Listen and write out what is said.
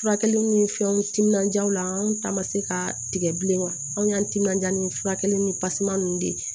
Furakɛliw ni fɛnw timinanja la anw ta ma se ka tigɛ bilen anw y'an timinanja ni furakɛli ni pasiman ninnu de ye